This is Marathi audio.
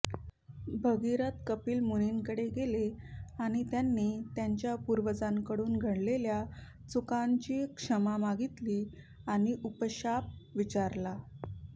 भगीरथ कपिल मुनींकडे गेले आणि त्यांनी त्यांच्या पूर्वजांकडून घडलेल्या चुकांची क्षमा मागितली आणि उःशाप विचारला